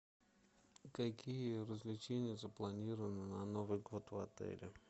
какие развлечения запланированы на новый год в отеле